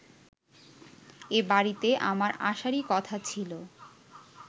এবাড়িতে আমার আসারই কথা ছিল